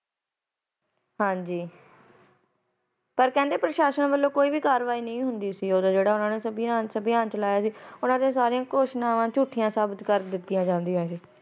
ਹਾਜੀ ਪਰ ਕਹਿੰਦੇ ਸਿਪਾਹੀ ਵੱਲੋ ਕੈ ਵੀ ਕਾਰਵਾਈ ਨਹੀਂ ਹੁੰਦੀ ਸੀ ਜਿਹੜਾ ਉਨਾ ਸਭਿਆ ਚਲਾਈਅ ਸੀ ਉਨਾ ਦੀਆ ਸਾਰਿਆ ਘੋਸਣਾਵਾ ਝੂਠੀਆ ਕਰ ਦਿਤੀ ਜਾਂਦੀਆ ਸੀ